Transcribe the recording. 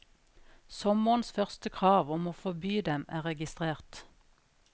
Sommerens første krav om å forby dem er registrert.